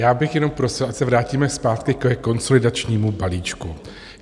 Já bych jenom prosil, ať se vrátíme zpátky ke konsolidačnímu balíčku.